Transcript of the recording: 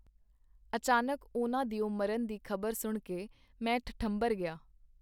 ਅਚਾਨਕ ਉਹਨਾਂ ਦਿਓ ਮਰਨ ਦੀ ਖ਼ਬਰ ਸੁਣ ਕੇ ਮੈਂ ਠਠੰਬਰ ਗਿਆ.